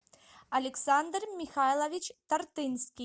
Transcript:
александр михайлович тартынский